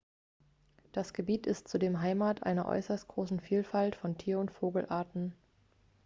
das gebiet ist zudem heimat einer äußerst großen vielfalt von tier und vogelarten